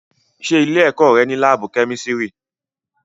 Ṣé ilé-ẹ̀kọ́ rẹ ní láábù kémísírì?